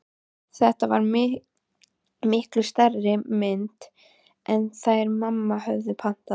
Þetta var miklu stærri mynd en þær mamma höfðu pantað.